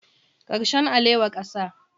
Karshen alewa kasa